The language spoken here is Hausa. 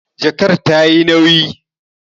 Jakar ta yi nauyi